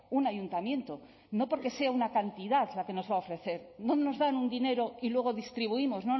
un ayuntamiento no porque sea una cantidad la que nos va a ofrecer no nos dan un dinero y luego distribuimos